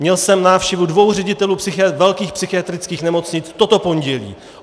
Měl jsem návštěvu dvou ředitelů velkých psychiatrických nemocnic toto pondělí.